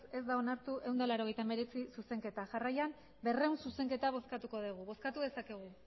ez da onartu ehun eta laurogeita hemeretzi zuzenketa jarraian berrehun zuzenketa bozkatuko dugu bozkatu dezakegu